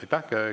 Aitäh!